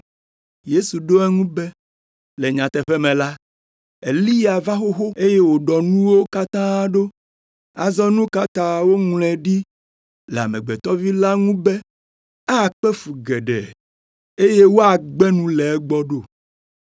Yesu ɖo eŋu be, “Le nyateƒe me la, Eliya va xoxo, eye wòɖɔ nuwo katã ɖo. Azɔ nu ka ta woŋlɔe ɖi le Amegbetɔ Vi la ŋu be, akpe fu geɖe, eye woagbe nu le egbɔ ɖo?